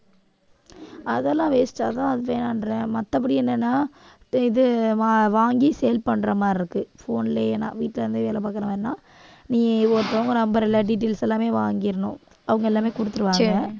அதெல்லாம் waste அதான் அது வேணான்ற மத்தபடி என்னன்னா இது வாங்கி sale பண்ற மாதிரி இருக்கு phone லயே நான் வீட்ல இருந்து வேலை பார்க்க வேண்டாம் நீ ஒருத்தவங்க ஒரு number இல்ல details எல்லாமே வாங்கிடணும் அவங்க எல்லாமே கொடுத்திருவாங்க